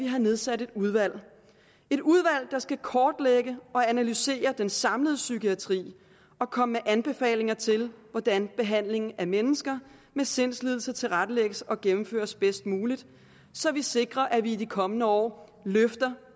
har nedsat et udvalg et udvalg der skal kortlægge og analysere den samlede psykiatri og komme med anbefalinger til hvordan behandlingen af mennesker med sindslidelser tilrettelægges og gennemføres bedst muligt så vi sikrer at vi i de kommende år løfter